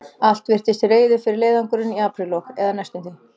Allt virtist til reiðu fyrir leiðangurinn í apríllok, eða næstum því.